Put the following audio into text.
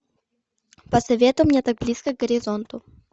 посоветуй мне так близко к горизонту